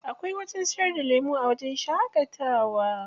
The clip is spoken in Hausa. Akwai wajen siyar da lemu a wajen shaƙatawa.